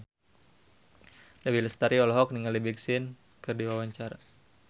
Dewi Lestari olohok ningali Big Sean keur diwawancara